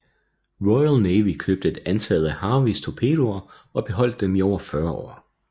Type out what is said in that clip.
Royal Navy købte et antal af Harveys torpedoer og beholdt dem i over 40 år